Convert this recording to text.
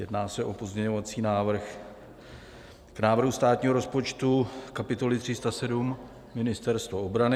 Jedná se o pozměňovací návrh k návrhu státního rozpočtu, kapitole 307 Ministerstvo obrany.